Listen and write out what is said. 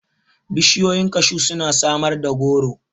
Bishiyoyin kashu suna samar da goro.